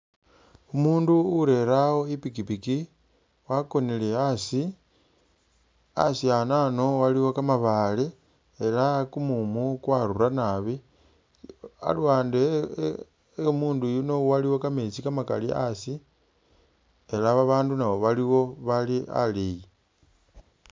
Umundu urere awo ipikipiki wakonile asii asii anano aliwo kamabale elah kumumu kwarura naabi aluwande eh eh omundu yuuno iliwo kametsi kamakali asi elah babandu naabo baliwo bali aleyi